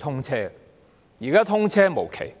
通車，但現在卻通車無期。